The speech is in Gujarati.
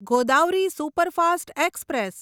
Godavari superfast express